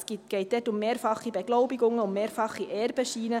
Es geht dort um mehrfache Beglaubigungen, um mehrfache Erbenscheine.